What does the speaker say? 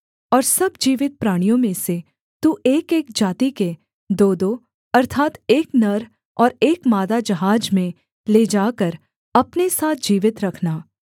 और सब जीवित प्राणियों में से तू एकएक जाति के दोदो अर्थात् एक नर और एक मादा जहाज में ले जाकर अपने साथ जीवित रखना